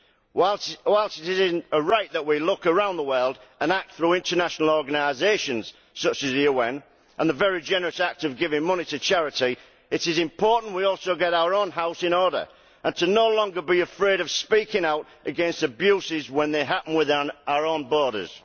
Whilst it is right that we look around the world and act through international organisations such as the UN and the very generous act of giving money to charity, it is important we also get our own house in order and to no longer be afraid of speaking out against abuses when they happen within our own borders.